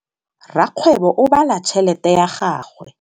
Rakgwêbô o bala tšheletê ya gagwe.